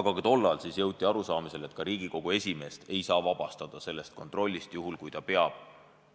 Aga ka tollal jõuti arusaamisele, et ka Riigikogu esimeest ei saa vabastada sellest kontrollist, juhul kui ta peab